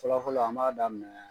Fɔlɔfɔlɔ an b'a daminɛ.